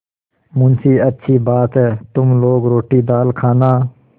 मुंशीअच्छी बात है तुम लोग रोटीदाल खाना